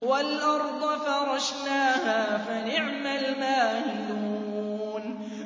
وَالْأَرْضَ فَرَشْنَاهَا فَنِعْمَ الْمَاهِدُونَ